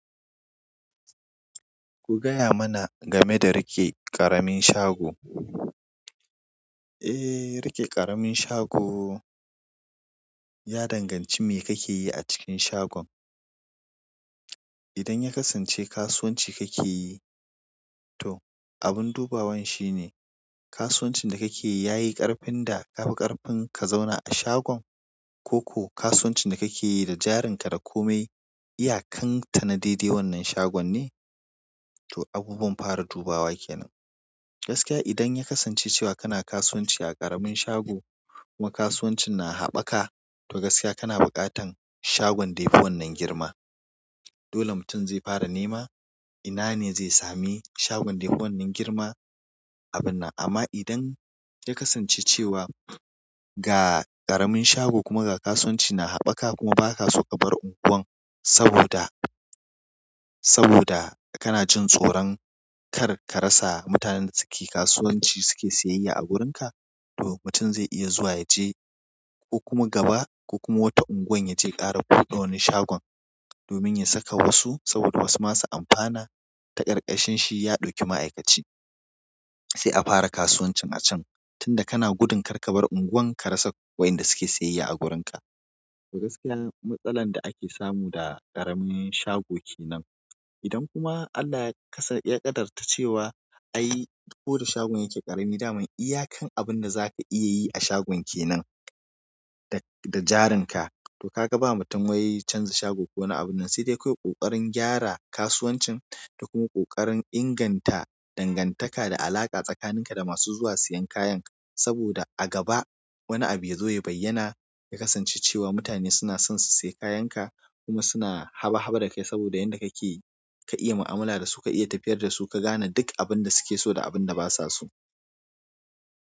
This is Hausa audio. Ku gaya mana game da rike ƙaramin shago. Eh, rike ƙaramin shago ya danganci me kake yi a cikin shagon. Idan ya kasance kasuwanci kake yi, to abin dubawan shi ne kasuwancin da kake yi yayi ƙarfin da ka fi ƙarfin ka zauna a shagon? Ko ko kasuwancin da kake yi da jarinka da komai iyakan ta na daidai wannan shagon ne? To abubuwan fara dubawa ke nan. Gaskiya idan ya kasance cewa kana kasuwanci a ƙaramin shago kuma kasuwancin na haɓɓaka, to gaskiya kana buƙatan shagon da yafi wannan girma. Dole mutum zai fara nema ina ne zai sami shagon da yafi wannan girma a binnan. Amma idan ya kasance cewa ga ƙaramin shago kuma ga kasuwanci na haɓaka kuma ba ka so ka bar unguwar saboda, saboda kana jin tsoron kar ka rasa mutanen da suke kasuwanci suke siyayya a wurinka, to mutum zai iya zuwa yaje ko kuma gaba ko kuma wata unguwar yaje ƙara buɗe wani shagon domin ya saka wasu saboda wasu masu amfana ta ƙarƙashin shi ya ɗauki ma'aikaci. Sai a fara kasuwancin a can tunda kana gudun kar ka bar unguwar ka rasa wayanda suke siyayya a wurinka. To gaskiya matsalar da ake samu da ƙaramin shago ke nan. Idan kuma Allah ya kasa, ya ƙaddartar cewa ai koda shagon yake ƙarami daman iyakan abinda zaka iya yi a shagon kenan, da, da jarinka, to kaga ba batun wai canza shago ko wani abinnan sai dai kawai ƙoƙarin gyara kasuwancin da kuma ƙoƙarin inganta dangantaka da alaƙa tsakanin ka da masu zuwa siyan kayan. Saboda a gaba wani abu ya zo ya bayyana ya kasance cewa mutane suna son su siya kayanka kuma suna haba haba da kai saboda yanda kake ka iya mu'amala da su, ka iya tafiyar da su, ka gane duk abun da suke so da abun da basa so.